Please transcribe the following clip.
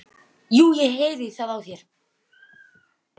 Jú, ég heyri það á þér.